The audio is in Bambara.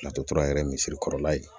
Latora yɛrɛ misiri kɔrɔla ye